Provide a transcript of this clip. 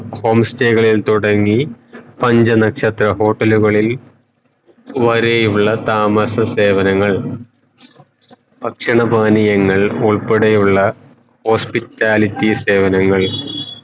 home stay കളിൽ തുടങ്ങി പഞ്ച നക്ഷത്ര hotel കളിൽ വരെയുള്ള താമസ സേവനങ്ങൾ ഭക്ഷണ പാനീയങ്ങൾ ഉൾപ്പെടെയുള്ള hospitality സേവനങ്ങൾ